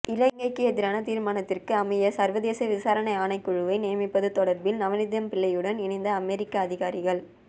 இலங்கைக்கு எதிரான தீர்மானத்திற்கு அமைய சர்வதேச விசாரணை ஆணைக்குழுவை நியமிப்பது தொடர்பில் நவநீதம்பிள்ளையுடன் இணைந்து அமெரிக்க அதிகாரிகள்